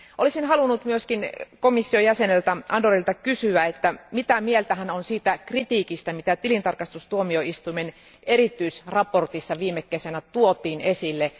Olisin halunnut myös komission jäseneltä Andorilta kysyä, että mitä mieltä hän on siitä kritiikistä, mitä tilintarkastustuomioistuimen erityisraportissa viime kesänä tuotiin esille.